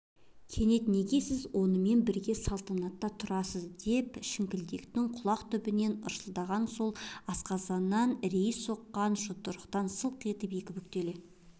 кенет неге сіз онымен бірге салтанатта тұрасыз деп шіңкілдектің құлақ түбінен ысылдағаны сол асқазаннан ірейі соққан жұдырықтан сылқ етіп екі бүктеле